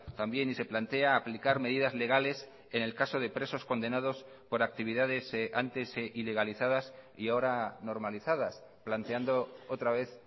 también y se plantea aplicar medidas legales en el caso de presos condenados por actividades antes ilegalizadas y ahora normalizadas planteando otra vez